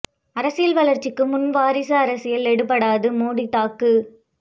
அரசியல் வளர்ச்சிக்கு முன் வாரிசு அரசியல் எடுபடாது மோடி தாக்கு